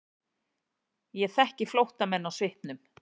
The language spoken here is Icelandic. Ég þekki flóttamenn á svipnum.